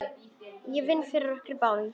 Ég vinn fyrir okkur báðum.